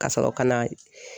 Ka sɔrɔ ka na